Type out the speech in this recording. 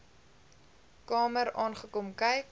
kamer aangekom kyk